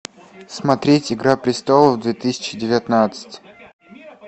смотреть игра престолов две тысячи девятнадцать